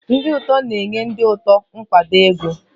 Ndị otu na-enye ndị otu nkwado ego.